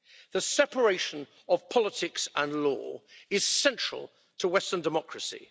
The separation of politics and law is central to western democracy.